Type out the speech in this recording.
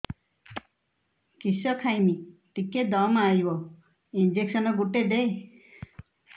କିସ ଖାଇମି ଟିକେ ଦମ୍ଭ ଆଇବ ଇଞ୍ଜେକସନ ଗୁଟେ ଦେ